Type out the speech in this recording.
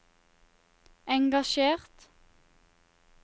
engasjert